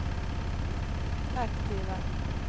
aktiva